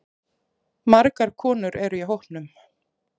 Margar konur eru í hópnum.